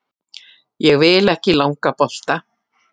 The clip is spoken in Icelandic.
Ég vil ekki langa bolta.